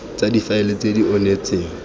tsa difaele tse di onetseng